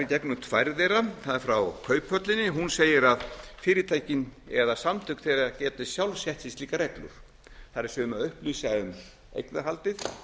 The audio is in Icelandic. gegnum tvær þeirra það er frá kauphöllinni hún segir að fyrirtækin eða samtök þeirra geti sjálf sett sér slíkar reglur það er að upplýsa um eignarhaldið